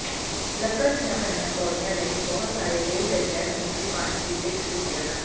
ਲੱਕੜ ਦੀਆਂ ਬਣੀਆਂ ਪੌੜੀਆਂ ਲਈ ਬਹੁਤ ਸਾਰੇ ਰੇਲ ਗੱਡੀਆਂ ਸਮੁੰਦਰੀ ਪਾਣੀ ਦੀ ਦਿੱਖ ਦਿੰਦੀਆਂ ਹਨ